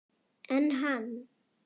En hann!